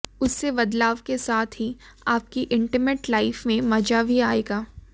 इससे बदलाव के साथ ही आपकी इंटीमेट लाइफ में मजा भी आएगा